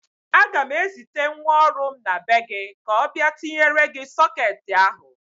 Aga m ezite nwa ọrụ m na be gị ka ọ bịa tinyere gị sọketị ahụ.